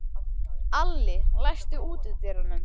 Alli, læstu útidyrunum.